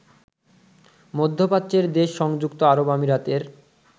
মধ্যপ্রাচ্যের দেশ সংযুক্ত আরব আমিরাতের